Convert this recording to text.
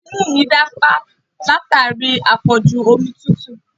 Imú mi dí pa látàrí àpọ̀jù omi tútù